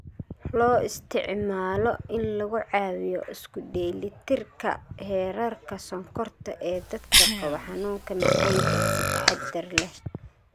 Loo isticmaalo in lagu caawiyo isku dheelitirka heerarka sonkorta ee dadka qaba xanuunka macaanka (si taxadar leh).